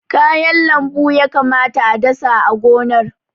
Kayan lambu ya kamata a dasa a gonar.